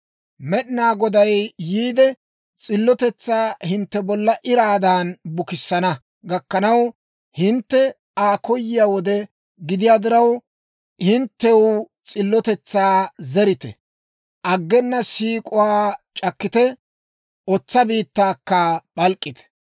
Med'inaa Goday yiide, s'illotetsaa hintte bolla iraadan bukissana gakkanaw, hintte Aa koyiyaa wode gidiyaa diraw, hinttew s'illotetsaa zerite; aggena siik'uwaa c'akkite; otsa biittaakka p'alk'k'ite.